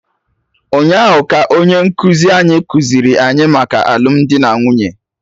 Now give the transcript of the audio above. Ụnyaahụ ka onye nkụzi anyị kụziiri anyị maka alụmdi na nwunye